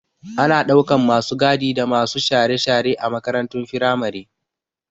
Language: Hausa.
Ana ɗaukan masu gadi da masu share-share a makarantun firamare